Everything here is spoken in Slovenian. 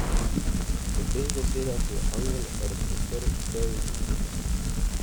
Po teh besedah je angel razprostrl peruti.